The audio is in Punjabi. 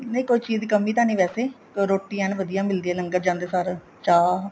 ਨਹੀਂ ਕੋਈ ਚੀਜ਼ ਦੀ ਕਮੀਂ ਤਾਂ ਨਹੀਂ ਵੈਸੇ ਰੋਟੀ ਐਨ ਵਧੀਆ ਮਿਲਦੀ ਏ ਜਾਂਦੇ ਸਾਰ ਚਾਹ